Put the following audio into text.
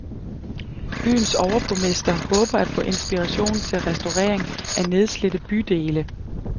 Byens overborgmester håber at få inspiration til restaurering af nedslidte bydele.